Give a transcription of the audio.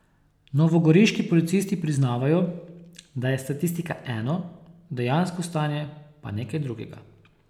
Novogoriški policisti priznavajo, da je statistika eno, dejansko stanje pa nekaj drugega.